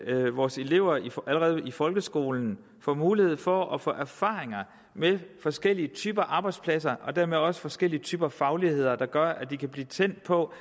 at vores elever allerede i folkeskolen får mulighed for at få erfaringer med forskellige typer af arbejdspladser og dermed også forskellige typer af fagligheder der gør at de kan blive tændt på